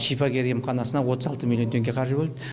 шипагер емханасына отыз алты миллион теңге қаржы бөлді